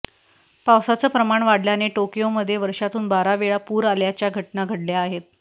पावसाचं प्रमाण वाढल्याने टोकयोमध्ये वर्षातून बारा वेळा पूर आल्याच्या घटना घडल्या आहेत